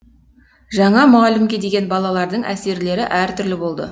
жаңа мұғалімге деген балалардың әсерлері әртүрлі болды